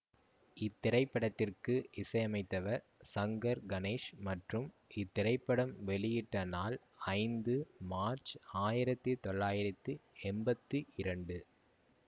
இத்திரைப்படத்திற்கு இசையமைத்தவர் சங்கர் கணேஷ் மற்றும் இத்திரைப்படம் வெளியிட பட்ட நாள் ஐந்து மார்ச் ஆயிரத்தி தொள்ளாயிரத்தி எம்பத்தி இரண்டு